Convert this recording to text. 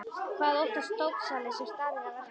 Hvað óttast dópsali sem staðinn er að verki?